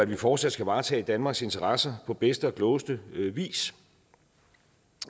vi fortsat skal varetage danmarks interesser på bedste og klogeste vis